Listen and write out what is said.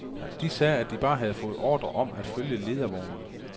De sagde, at de bare havde fået ordre om at følge ledervognen.